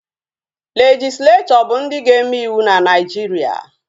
Legislechọ bụ ndị ga-eme ịwụ na Naijiria